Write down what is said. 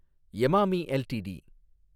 Emami LTD